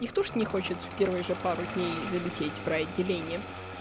никто же не хочет в первой же пару дней залетать в рай отделение